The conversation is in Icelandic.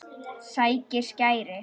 Sækir skæri.